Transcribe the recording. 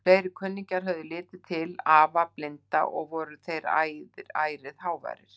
Fleiri kunningjar höfðu litið inn til afa blinda og voru þeir ærið háværir.